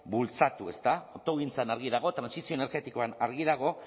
bultzatu autogintzan argi dago trantsizio energetikoan argi dago